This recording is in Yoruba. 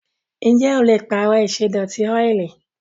Ǹjẹ́ o le pààrọ̀ ìṣẹ́dọ̀tí ọ́ìlì?